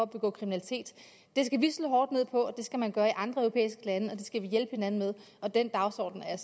begå kriminalitet det skal vi slå hårdt ned på det skal man gøre i andre europæiske lande og det skal vi hjælpe hinanden med den dagsorden er jeg